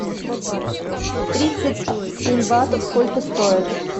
тридцать семь батов сколько стоят